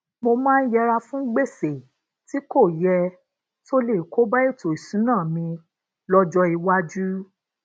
mo maa n yera fun gbèsè tí kò ye tó lè koba etò ìṣúnná mi lójó iwájú